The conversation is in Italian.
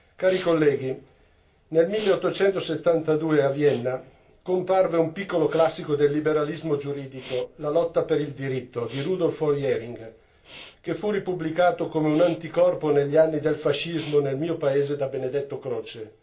Cari colleghi, nel 1872 a Vienna comparve un piccolo classico del liberalismo giuridico, La lotta per il diritto di Rudolf von Jhering, che fu ripubblicato come un anticorpo negli anni del fascismo nel mio paese da Benedetto Croce.